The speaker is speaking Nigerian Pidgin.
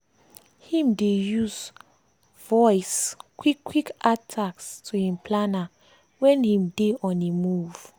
him dey use voice quick quick add task to him planner wen him dey on a move.